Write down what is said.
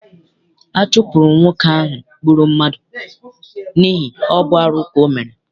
A chụpụrụ nwoke ahụ gbụrụ mmadụ n'ihi ọ bụ arụ ka ọ mere.